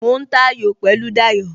Mo ń ta ayò pẹ̀lú Dayo